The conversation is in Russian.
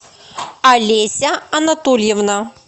олеся анатольевна